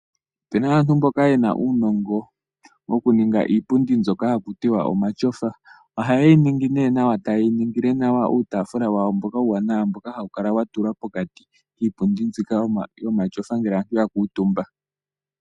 Pena aantu mboka yena uunongo wokuninga iipundi mbyoka hakutiwa omatyofa, ohaye yi ne nawa tayeyi ningile nawa uutaafula wawo mboka uuwanawa mboka hawukala watulwa pokati kiipundi mbika yomatyofa ngele aantu yakuutumba.